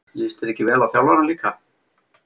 Líst þér ekki vel á þjálfarann líka?